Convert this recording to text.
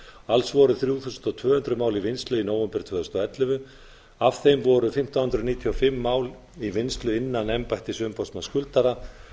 alls voru þrjú þúsund tvö hundruð mál í vinnslu í nóvember tvö þúsund og ellefu af þeim voru fimmtán hundruð níutíu og fimm mál í vinnslu innan embættis umboðsmanns skuldara